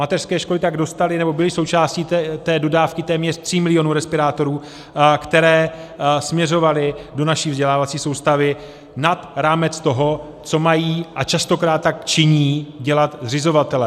Mateřské školy tak dostaly, nebo byly součástí té dodávky téměř 3 milionů respirátorů, které směřovaly do naší vzdělávací soustavy nad rámec toho, co mají - a častokrát tak činí - dělat zřizovatelé.